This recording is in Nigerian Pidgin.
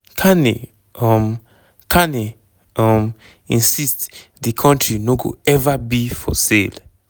carney um carney um insist di country no go "ever be for sale".